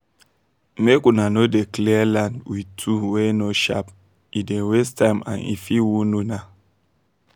make una no dey clear land with tool wey no sharp e dey waste time and e fit wound una